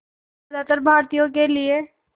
ज़्यादातर भारतीयों के लिए